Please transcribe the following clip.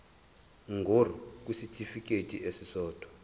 ngur kwisitifikedi esisodwa